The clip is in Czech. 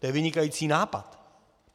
To je vynikající nápad!